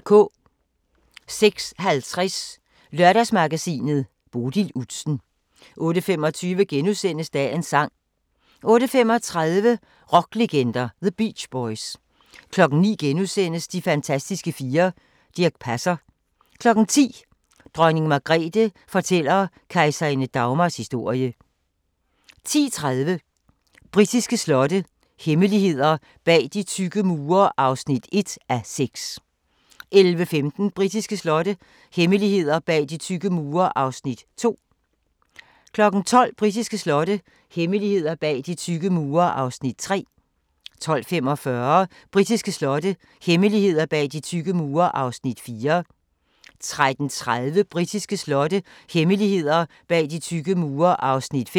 06:50: Lørdagshjørnet - Bodil Udsen 08:25: Dagens sang * 08:35: Rocklegender – The Beach Boys 09:00: De fantastiske fire: Dirch Passer * 10:00: Dronning Margrethe fortæller kejserinde Dagmars historie 10:30: Britiske slotte – hemmeligheder bag de tykke mure (1:6) 11:15: Britiske slotte – hemmeligheder bag de tykke mure (2:6) 12:00: Britiske slotte – hemmeligheder bag de tykke mure (3:6) 12:45: Britiske slotte – hemmeligheder bag de tykke mure (4:6) 13:30: Britiske slotte – hemmeligheder bag de tykke mure (5:6)